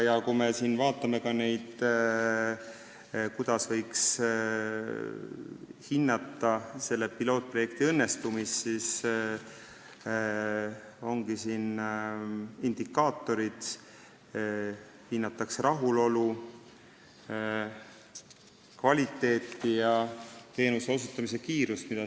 Ja kui me vaatame, kuidas võiks hinnata selle pilootprojekti õnnestumist, siis on siin indikaatorid: hinnatakse rahulolu, kvaliteeti ja teenuse osutamise kiirust.